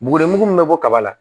Bugulen min bɛ bɔ kaba la